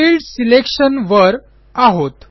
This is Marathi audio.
फील्ड Selectionवर आहोत